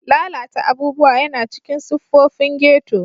Lalata abubuwa yana cikin siffofin ghetto.